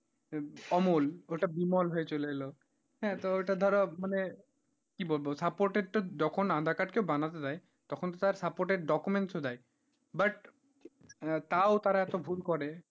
অমুল ওইটা বিমল হয়ে চলে এলো, হ্যাঁ তো ওইটা ধরো মানে কি বলবো supported টা যখন aadhaar card কেও বানাতে দেয় তখন তো তার supported documents দেয় but তাও তারা এত ভুল করে,